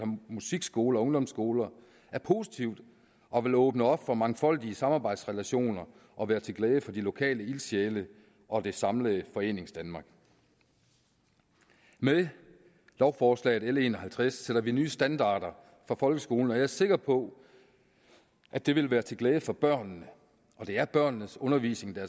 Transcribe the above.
musikskoler og ungdomsskoler er positivt og vil åbne op for mangfoldige samarbejdsrelationer og være til glæde for de lokale ildsjæle og det samlede foreningsdanmark med lovforslaget l en og halvtreds sætter vi nye standarder for folkeskolen jeg er sikker på at det vil være til glæde for børnene og det er børnenes undervisning der